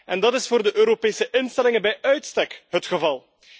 En dat is voor de Europese instellingen bij uitstek het geval.